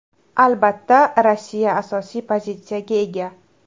Albatta, Rossiya asosiy pozitsiyaga ega.